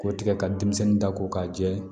K'o tigɛ ka denmisɛnnin da ko k'a jɛ